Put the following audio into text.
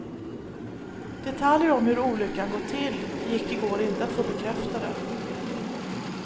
Detaljer om hur olyckan gått till gick i går inte att få bekräftade.